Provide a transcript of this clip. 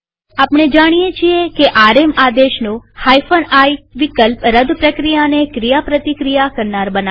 આપણે જાણીએ છીએ કે આરએમ આદેશનો i વિકલ્પ રદ પ્રક્રિયાને ક્રિયાપ્રતિક્રિયા કરનાર બનાવે છે